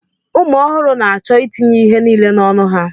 Ụmụ ọhụrụ na-achọ itinye ihe niile n'ọnụ ha